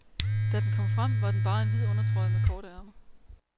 Da den kom frem, var den bare en hvid undertrøje med korte ærmer.